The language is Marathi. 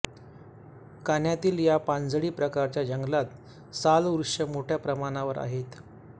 कान्हातील या पानझडी प्रकारच्या जंगलात साल वृक्ष मोठ्या प्रमाणावर आहेत